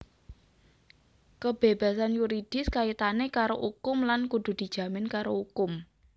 Kebébasan yuridis kaitané karo ukum lan kudu dijamin karo ukum